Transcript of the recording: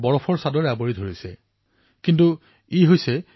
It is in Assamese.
মোৰ মৰমৰ দেশবাসীসকল শীতৰ বতৰ আৰম্ভ হৈছে গুলপীয়া শীতে সকলোকে চুই গৈছে